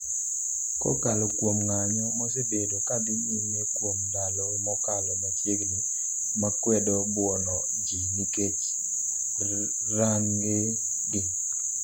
kokalo kuom ng'anyo mosebedo kadhi nyime kuom ndalo mokalo machiegni makwedo buono ji nikech rang'e gi